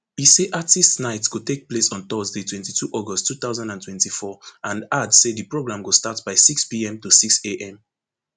e say artistes night go take place on thursday twenty-two august two thousand and twenty-four and add say di program go start by sixpm to sixam